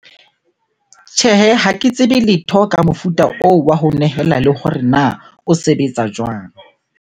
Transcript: Tjhehe, ha ke tsebe letho ka mofuta oo wa ho nehela le hore na o sebetsa jwang?